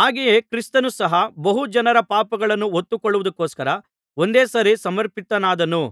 ಹಾಗೆಯೇ ಕ್ರಿಸ್ತನು ಸಹ ಬಹು ಜನರ ಪಾಪಗಳನ್ನು ಹೊತ್ತು ಕೊಳ್ಳುವುದಕ್ಕೊಸ್ಕರ ಒಂದೇ ಸಾರಿ ಸಮರ್ಪಿತನಾದನು